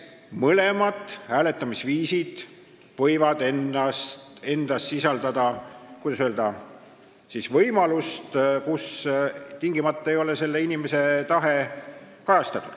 Mõlemad hääletamisviisid võivad endas sisaldada, kuidas öelda, võimalust, et tingimata ei saa inimese tahe kajastatud.